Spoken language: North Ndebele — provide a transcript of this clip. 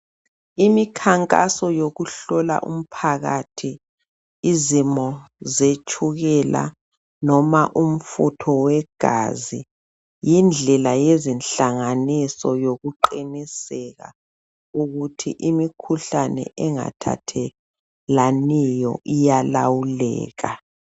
Imikhankaso yokuhola umphakathi izimo zetshukela noma umfutho wegazi. Yindlela yezinhlanganiso yokuqiniseka ukuthi imikhuhlane engathathelaniyo iyalawuleka.